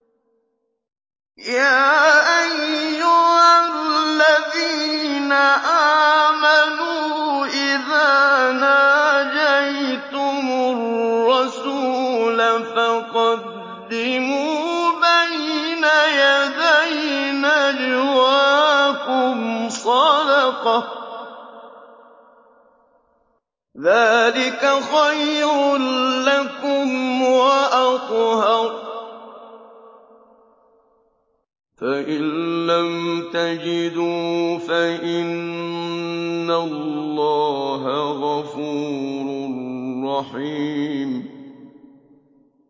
يَا أَيُّهَا الَّذِينَ آمَنُوا إِذَا نَاجَيْتُمُ الرَّسُولَ فَقَدِّمُوا بَيْنَ يَدَيْ نَجْوَاكُمْ صَدَقَةً ۚ ذَٰلِكَ خَيْرٌ لَّكُمْ وَأَطْهَرُ ۚ فَإِن لَّمْ تَجِدُوا فَإِنَّ اللَّهَ غَفُورٌ رَّحِيمٌ